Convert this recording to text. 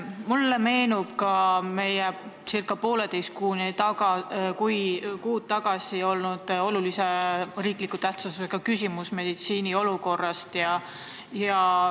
Mulle meenub meil ca poolteist kuud tagasi olnud olulise tähtsusega riikliku küsimuse arutelu meditsiini olukorra teemal.